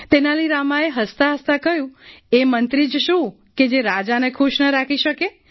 તેનાલી રામાએ હસતા હસતાં કહ્યું એ મંત્રી જ શું કે જે રાજાને ખુશ ન રાખી શકે